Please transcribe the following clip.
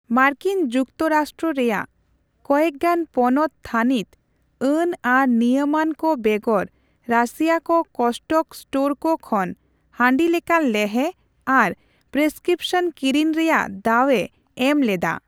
ᱢᱟᱨᱠᱤᱱ ᱡᱩᱠᱛᱚ ᱨᱟᱥᱴᱨᱚ ᱨᱮᱭᱟᱜ ᱠᱚᱭᱮᱠᱜᱟᱱ ᱯᱚᱱᱚᱛ ᱛᱷᱟᱱᱤᱛ ᱟᱹᱱ ᱟᱨ ᱱᱤᱭᱟᱹᱢᱟᱹᱱ ᱠᱚ ᱵᱮᱜᱚᱨᱼᱨᱟᱹᱥᱤᱭᱟᱹᱠᱚ ᱠᱚᱥᱴᱚᱠᱚ ᱥᱴᱳᱨᱠᱚ ᱠᱷᱚᱱ ᱦᱟᱺᱰᱤᱞᱮᱠᱟᱱ ᱞᱮᱦᱮ ᱟᱨ ᱯᱨᱮᱥᱠᱤᱯᱥᱚᱱ ᱠᱤᱨᱤᱧ ᱨᱮᱭᱟᱜ ᱫᱟᱣᱮ ᱮᱢ ᱞᱮᱫᱟ ᱾